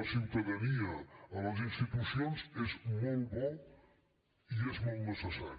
la ciutadania a les institucions és molt bo i és molt necessari